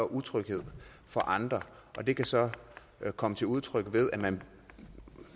utryghed for andre og det kan så komme til udtryk ved at man